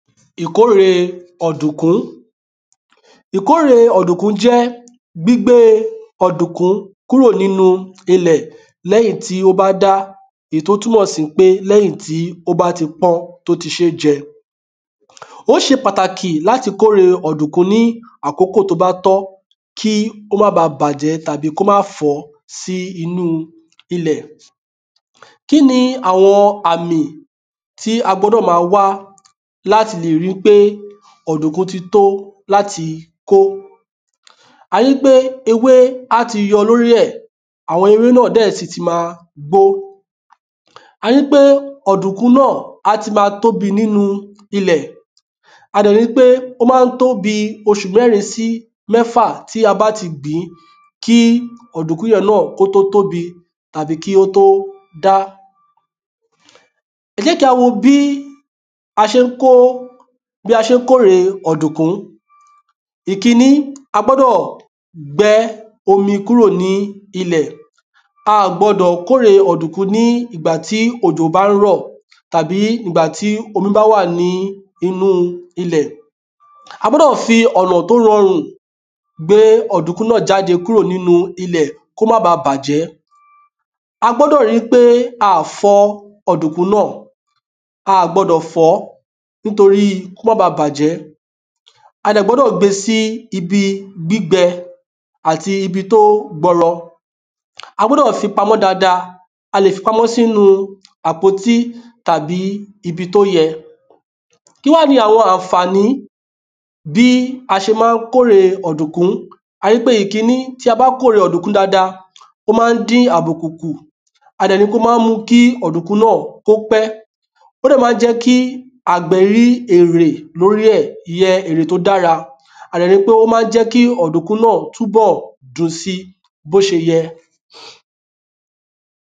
ìkóre ọ̀dùnkún. ìkóre ọ̀dùnkún jẹ́ gbígbé ọ̀dùnkún kúrò nínu ilẹ̀ lẹ́yìn tí ó bá dá, èyí tí ó túnmọ̀ sí wípé lẹ́yìn tí ó bá ti pọ́n, tí ó ti ṣe é jẹ ó ṣe pàtàki láti kóre ọ̀dùnkún ní àsìkò tó bá tọ́, kí ó má baà bàjẹ́ tàbí kí ó má baà fọ́ sínu ilẹ̀ Kíni àwọn àmì tí a gbọ́dọ̀ máa wá láti lè ríi pé ọ̀dùnkún ti tó láti kó a ríi pé ewé á ti yọ lóri ẹ̀, àwọn ewé náà dẹ̀ sì ti máa gbó, a ríi wípé ọ̀dùkún náà a ti máa tóbi nínu ilẹ̀ a dẹ̀ ríi wípé á máa tó bíi oṣù mẹ́rin sí mẹ́fà tí a bá ti gbin kí ọ̀dùnkún yẹn náà kí ó tó tóbi tàbí kí ó tó dá ẹ jẹ́ kí a wo bí a ṣe ń kóre ọ̀dùnkún: ìkíní, a gbọ́dọ̀ gbẹ omi kúrò nílẹ̀ a gbọ́dọ̀ kóre ọ̀dùnkún tí òjò bá rọ̀ tàbí ìgbà tí omi bá wà ni inú ilẹ̀ a gbọ́dọ̀ fi ọ̀nà tí ó rọrùn gbé ọ̀dùnkún náà jáde kúrò nínu ilẹ̀ kí ó má báa bàjẹ́, a gbọ́dọ̀ ríi pé a ò fọ ọ̀dùnkún náà, a ò gbọdọ̀ fọ̀ọ́ nítori kí ó má bàjẹ́ a dẹ̀ gbọ́dọ̀ gbé e síbi gbígbẹ àti ibi tó gbọlọ. a gbọ́dọ̀ fi pamọ́ dáadáa, a lè fi pamọ́ sínu àpótí tàbí ibi tí ó yẹ Kí wá ni àwọn àǹfàni bí a ṣe ma ń kóre ọ̀dùnkún, a ríi pé ìkíní tí a bá kóre ọ̀dùnkún dáadáa, ó ma ń dín àbùkù kù a dẹ̀ tún ríi pé ó ma ń mú kí ọ̀dùnkún náà kó pẹ́, ó dẹ̀ ma ń jẹ́ kí àgbẹ̀ rí èrè lórí ẹ̀ ìyẹn èrè tó dára, a dẹ̀ ríi pé ó ma ń túbọ̀ jẹ́ kí ọ̀dùnkún náà dùn sí bó ṣe yẹ